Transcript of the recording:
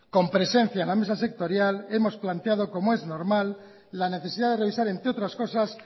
con presencia en la mesa sectorial hemos planteado como es normal la necesidad de revisar entre otras cosas